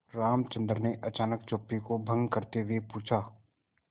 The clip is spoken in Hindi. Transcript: रामचंद्र ने अचानक चुप्पी को भंग करते हुए पूछा